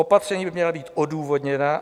Opatření by měla být odůvodněná.